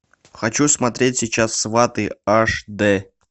хочу смотреть сейчас сваты аш дэ